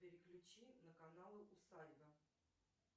переключи на канал усадьба